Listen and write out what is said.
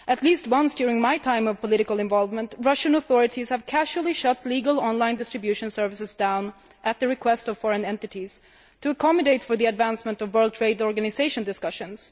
At least once during my time of political involvement, Russian authorities have casually shut down legal online distribution services at the request of foreign entities to accommodate the advancement of World Trade Organisation discussions.